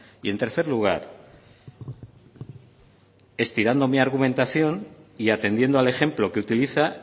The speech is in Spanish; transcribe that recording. y en tercer lugar estirando mi argumentación y atendiendo al ejemplo que utiliza